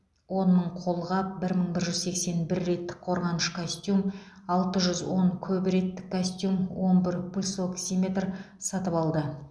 он мың қолғап бір мың бір жүз сексен бір реттік қорғаныш костюм алты жүз он көп реттік костюм он бір пульсоксиметр сатып алды